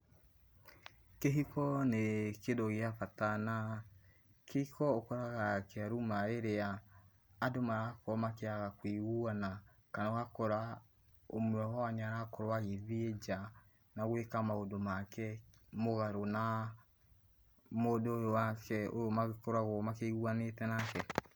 Kĩhiko nĩ kĩndũ gĩa bata na kĩhiko ũkoraga gĩkĩruma rĩrĩa andũ marakorwo makĩaga kũiguana kana ũgakora ũmwe wao nĩarakorwo agĩthiĩ nja na gwĩka maũndũ make mũgarũ na mũndũ ũyũ wake, ũyũ magĩkoragwo maiguanĩte nake.